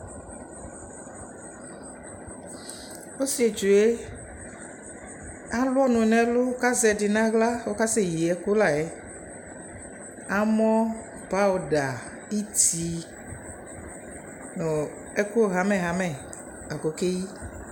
Ɔsitsue alu ɔnʋ nʋ ɛlʋ kʋ azɛ ɛdι nʋ aɣla kʋ asɛyi ɛkʋ la yɛAmɔ, pawuda, ιtι nʋ ɛkʋ hamɛhamɛ la kʋ okeyi